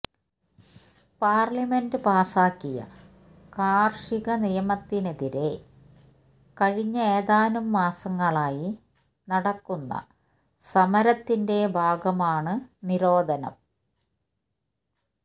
parliament പാസ്സാക്കിയ കാര്ഷിക നിയമത്തിനെതിരേ കഴിഞ്ഞ ഏതാനും മാസങ്ങളായി നടക്കുന്ന സമരത്തിന്റെ ഭാഗമാണ് നിരോധനം